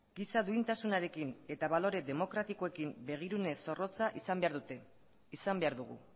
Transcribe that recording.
giza duintasunarekin eta balore demokratikoekin begirune zorrotza izan behar dute izan behar dugu